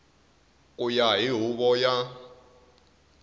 ku ya hi huvo ya